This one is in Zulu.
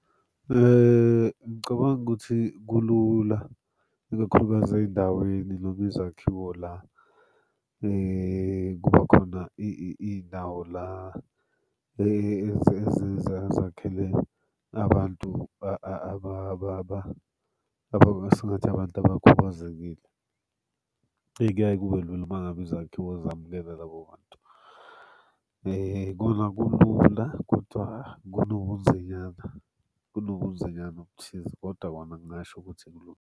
Ngicabanga ukuthi kulula ikakhulukazi ey'ndaweni noma izakhiwo la kuba khona iy'ndawo la ezakhele abantu esingathi abantu abakhubazekile. Kuyaye kube lula uma ngabe izakhiwo zamukela labo bantu. Kona kulula kodwa kunobu kunobunzinyana kunobunzinyana obuthize kodwa bona ngingasho ukuthi kulula.